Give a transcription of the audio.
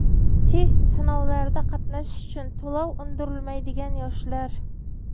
Test sinovlarida qatnashish uchun to‘lov undirilmaydigan yoshlar.